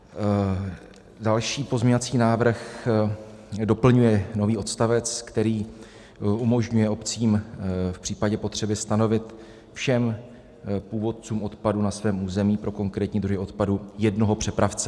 Další pozměňovací návrh doplňuje nový odstavec, který umožňuje obcím v případě potřeby stanovit všem původcům odpadu na svém území pro konkrétní druhy odpadu jednoho přepravce.